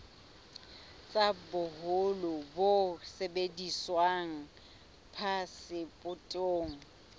tsa boholo bo sebediswang phasepotong